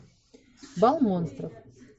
бал монстров